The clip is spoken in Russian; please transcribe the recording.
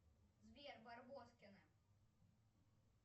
сбер барбоскины